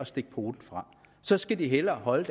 stikke poten frem så skal de hellere holde